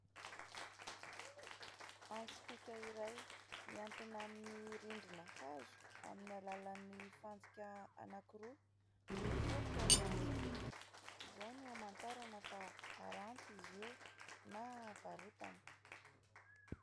Antsy pika iray mihantona amin'ny rindrina hazo amin'ny alalan'ny fantsika anankiroa. Miforitra ilay antsy pika; izao no hamantarana fa haranty izy io na varotana.